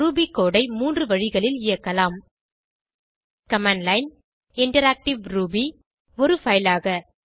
Ruby code ஐ 3 வழிகளில் இயக்கலாம் கமாண்ட் லைன் இன்டராக்டிவ் ரூபி ஒருfile ஆக